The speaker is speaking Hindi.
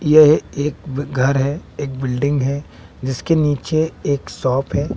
यह एक घर है एक बिल्डिंग है जिसके नीचे एक शॉप है।